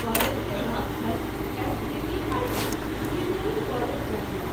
College के नाम छल S. G. V. I. T. Engineering college, Bangalore.